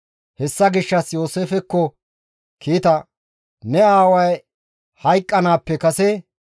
Hessa gishshas Yooseefekko kiita, «Ne aaway hayqqanaappe kase;